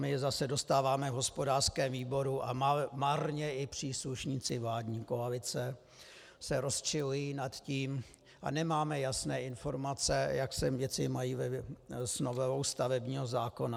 My zase dostáváme v hospodářském výboru, a marně i příslušníci vládní koalice se rozčilují nad tím - a nemáme jasné informace, jak se věci mají s novelou stavebního zákona.